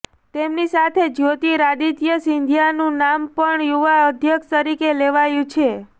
તેમની સાથે જ્યોતિરાદિત્ય સિંધિયાનું નામ પણ યુવા અધ્યક્ષ તરીકે લેવાયું છે